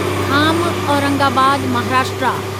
Kham Aurangabad Maharashtra